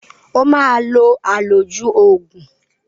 O máa lo àlòjù oògùn